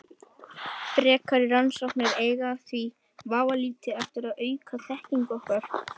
Frekari rannsóknir eiga því vafalítið eftir að auka þekkingu okkar.